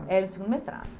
Era o segundo mestrado.